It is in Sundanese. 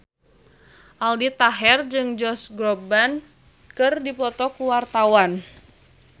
Aldi Taher jeung Josh Groban keur dipoto ku wartawan